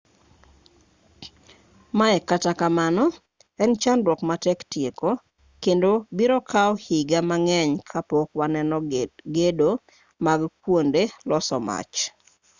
mae kata kamano en chandruok matek tieko kendo biro kawo higa mang'eny kapok waneno gedo mag kuonde loso mach